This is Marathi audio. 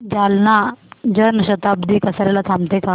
जालना जन शताब्दी कसार्याला थांबते का